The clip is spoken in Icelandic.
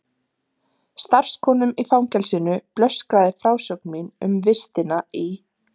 Starfskonum í fangelsinu blöskraði frásögn mín um vistina í